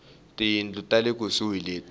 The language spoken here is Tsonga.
tiyindlu ta le kusuhi leti